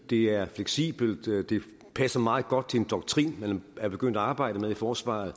det er fleksibelt og det passer meget godt til en doktrin man er begyndt at arbejde med i forsvaret